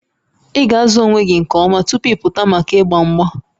Ị ga-azụ onwe gị nke ọma tupu ị pụta maka mgba mgba